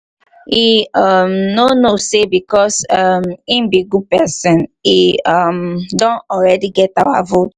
he um no know say because um he be good person he um don already get our vote